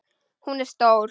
Hún er stór.